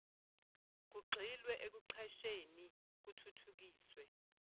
kugxilwe ekuqasheni kuthuthukiswe